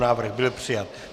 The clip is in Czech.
Návrh byl přijat.